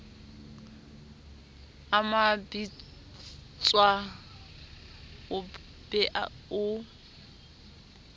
a mabitsoao o be o